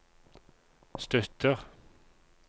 støtter